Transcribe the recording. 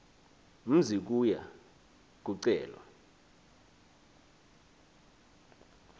mzi kuya kucelwa